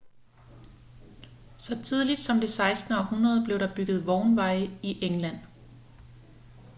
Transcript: så tidligt som det 16. århundrede blev der bygget vognveje i england